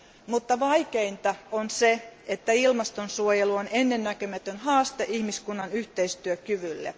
mutta vaikeinta on se, että ilmastonsuojelu on ennennäkemätön haaste ihmiskunnan yhteistyökyvylle.